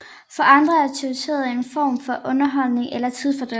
For andre er teorierne en form for underholdning eller tidsfordriv